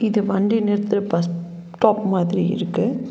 இது வண்டிய நிறுத்துற பஸ் ஸ்டாப் மாதிரி இருக்கு.